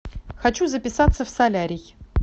хочу записаться в солярий